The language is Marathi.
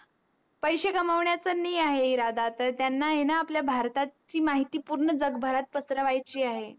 पैशे कामावण्याच नाही इरादा त्यांना आहे त्यांना आहे न आपल्या भारताची माहिती पूर्ण जगभरात पासरवाची आहे